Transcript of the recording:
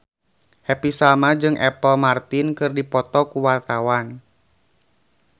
Happy Salma jeung Apple Martin keur dipoto ku wartawan